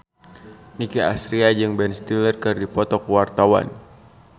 Nicky Astria jeung Ben Stiller keur dipoto ku wartawan